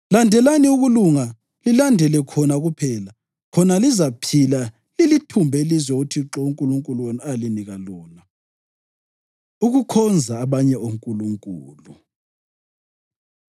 Landelani ukulunga lilandele khona kuphela, khona lizaphila lilithumbe ilizwe uThixo uNkulunkulu wenu alinika lona.” Ukukhonza Abanye Onkulunkulu